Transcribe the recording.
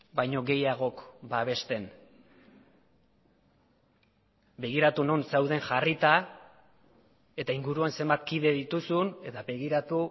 baino gehiagok babesten begiratu non zauden jarrita eta inguruan zenbat kide dituzun eta begiratu